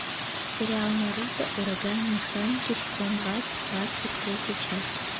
сериал наруто ураганные хроники сезон два двадцать третья часть